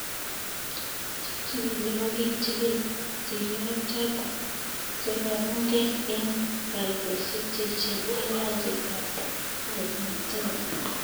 Che chigili kokichigil njiriot choto, chekaumge eng' kaitosiek che echen eng' nyanjet ab Argentina.